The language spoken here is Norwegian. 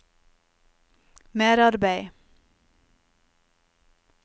merarbeid